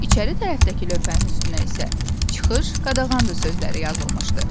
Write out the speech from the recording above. İçəri tərəfdəki lövhənin üstünə isə çıxış qadağandır sözləri yazılmışdı.